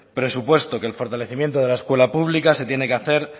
presupuesto que el fortalecimiento de la escuela pública se tiene que hacer